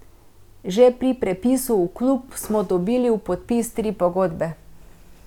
Že pri prepisu v klub smo dobili v podpis tri pogodbe.